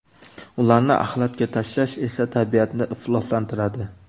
Ularni axlatga tashlash esa tabiatni ifloslantiradi.